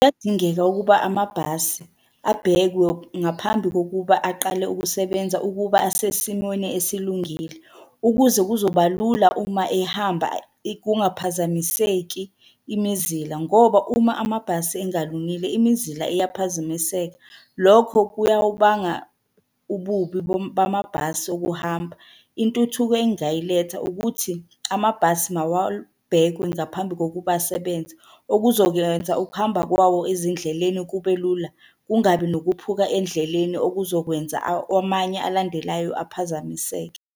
Kuyadingeka ukuba amabhasi abhekwe ngaphambi kokuba aqale ukusebenza ukuba asesimweni esilungile, ukuze kuzoba lula uma ehamba kungaphazamiseki imizila, ngoba uma amabhasi engalungile imizila iyaphazamiseka. Lokho kuyawubanga ububi bamabhasi okuhamba. Intuthuko engingayiletha ukuthi amabhasi mawabhekwe ngaphambi kokuba asebenze. Okuzokwenza ukuhamba kwawo ezindleleni kube lula, kungabi nokuphuka endleleni okuzokwenza amanye alandelayo aphazamiseke.